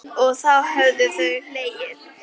Lolla var í essinu sínu.